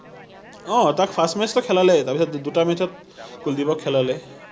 অ তাক match টো খেলালে তাৰপাছত দু দুটা match ত কুলদিপক খেলালে